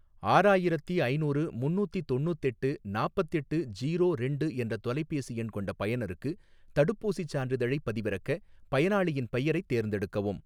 ஆறாயிரத்தி ஐநூறு முன்னூத்தி தொண்ணூத்தெட்டு நாப்பத்தெட்டு ஜீரோ ரெண்டு என்ற தொலைபேசி எண் கொண்ட பயனருக்கு தடுப்பூசிச் சான்றிதழைப் பதிவிறக்க, பயனாளியின் பெயரைத் தேர்ந்தெடுக்கவும்.